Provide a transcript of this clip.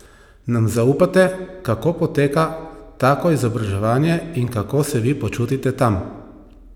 Nam zaupate, kako poteka tako izobraževanje in kako se vi počutite tam?